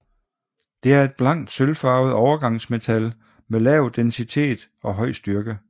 Det er et blankt sølvfarvet overgangsmetal med lav densitet og høj styrke